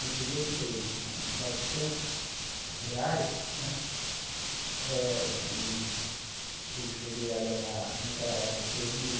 No primeiro emprego, com novecentos reais né, e eu cheguei a ganhar, naquela época, três mil e